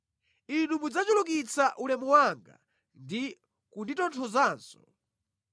Inu mudzachulukitsa ulemu wanga ndi kunditonthozanso.